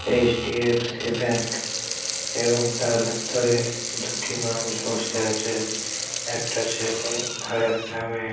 HDFC. Bank এবং তার ভেতরে দুটি মানুষ বসে আছে। একটা ছেলে আর একটা মেয়ে।